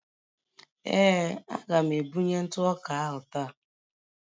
Ee, a ga-ebunye ntụ ọka ahụ taa